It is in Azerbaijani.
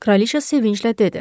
Kraliça sevinclə dedi: